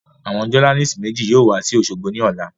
Àwọn jọ́nálìsì méjì yóò wa sí òṣogbo ní ọ̀la